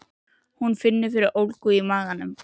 Hún finnur fyrir ólgu í maganum.